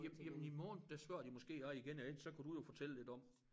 Ja jamen i morgen der spørger de måske også igen og ellers så kan du jo fortælle lidt om